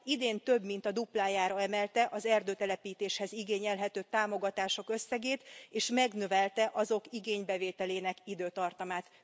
Idén több mint a duplájára emelte az erdőtelepítéshez igényelhető támogatások összegét, és megnövelte azok igénybevételének időtartamát.